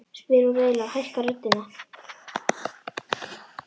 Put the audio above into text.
spyr hún reiðilega og hækkar röddina.